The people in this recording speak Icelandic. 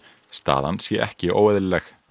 staðan sé ekki óeðlileg